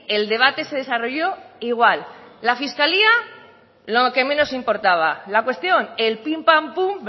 el debate se desarrolló igual la fiscalía lo que menos importaba la cuestión el pim pam pum